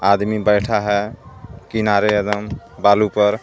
आदमी बैठा है किनारे बालू पर.